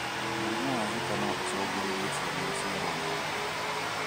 Mũrimũ wa zika no ũcungĩrĩrie cĩana gũciarwo na wathe.